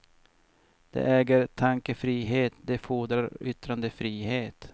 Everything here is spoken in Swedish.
De äger tankefrihet, de fordrar yttrandefrihet.